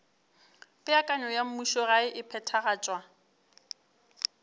peakanyo ya mmušogae e phethagatšwa